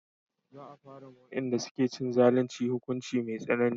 Za a fara ma wayanda suke yin zalunci hukunci mai tsanani